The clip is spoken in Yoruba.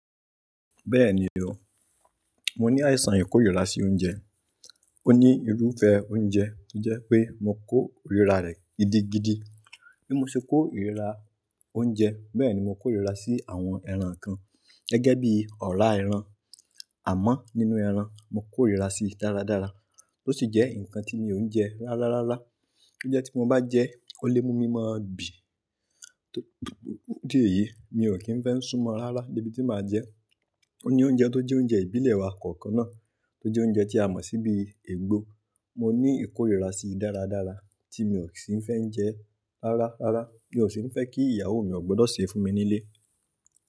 Bẹ́ẹ̀ni o, mo ní àìsàn ìkórìíra sí oúnjẹ. Ó ní irúfẹ́ oúnjẹ tó jẹ́ pé mo kó ìríra rẹ̀ gidigidi. Bí mo ṣe kó ìríra oúnjẹ bẹ́ẹ̀ ni mo kó ìríra sí àwọn ẹran kan gẹ́gẹ́ bí ọ̀rá ẹran. Àmọ́ nínú ẹran, mo kó ìríra sí dáradára, tó sì jẹ́ ǹkan tí mi ò ń jẹ rárá rárá. Ó jẹ́ tí mo bá jẹ ẹ, ó lè mú mi ma bí tori idí èyí mi ò kí ń fẹ́ ń súnmọ́ rárá debi tí màá jẹe. Ó ní oúnjẹ tó jẹ́ oúnjẹ ìbílẹ̀ wa kọ̀ọ̀kan náà, tó jẹ́ oúnjẹ tí a mọ̀ si bii egbò. Mo ní ìkórìíra sí dáradára tí mi ò sì ń fẹ́ ń jẹ rárá rárá. Mi ò sì ń fẹ́ kí ìyàwó mi ó gbudọ̀ sèe fún mi nílé.